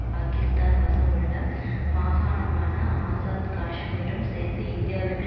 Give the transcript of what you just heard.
பாக்கிஸ்தான் வசமுள்ள மாகாணமான ஆசாத் காஷ்மீரும் சேர்ந்து இந்தியாவிற்கு